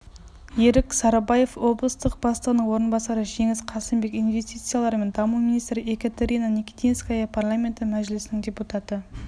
ерік сарыбаев облыстық бастығының орынбасары жеңіс қасымбек инвестициялар және даму министрі екатерина никитинская парламенті мәжілісінің депутаты